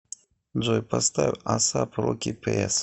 джой поставь асап роки пес